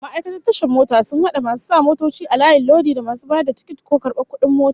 Ma'aikatan tashar mota sun hada masu sa motoci a layin lodi, da masu bayar da tikiti ko karbar kudin mota